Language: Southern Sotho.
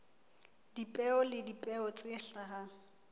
dipeo le dipeo tse hlahang